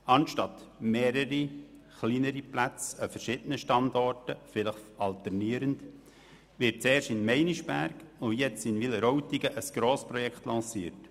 Anstatt mehrere kleinere Plätze an verschiedenen Standorten, vielleicht alternierend, zu suchen, wird zuerst in Meinisberg und jetzt in Wileroltigen ein Grossprojekt lanciert.